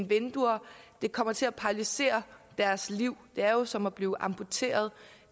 vinduer det kommer til at paralysere deres liv det er jo som at blive amputeret